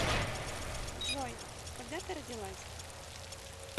джой когда ты родилась